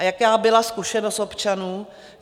A jaká byla zkušenost občanů?